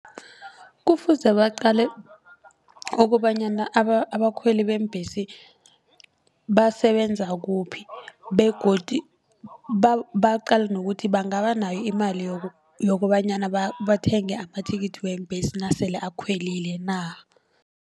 Kufuze baqale kobanyana abakhweli beembhesi basebenza kuphi begodu baqale nokuthi bangabanayo imali yokobanyana bathenge amathikithi weembhesi nasele akhwelile na.